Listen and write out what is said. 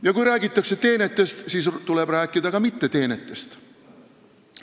Ja kui räägitakse teenetest, siis tuleb rääkida ka mitteteenetest.